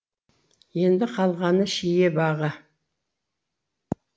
енді қалғаны шие бағы